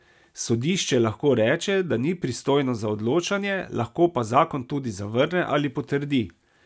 Sodišče lahko reče, da ni pristojno za odločanje, lahko pa zakon tudi zavrne ali potrdi.